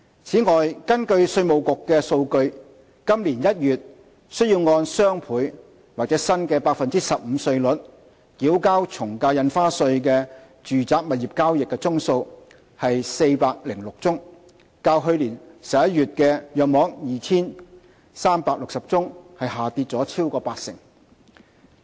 此外，根據稅務局的數據，今年1月須按雙倍或新 15% 稅率繳交從價印花稅的住宅物業交易宗數為406宗，較去年11月約 2,360 宗下跌超過八成。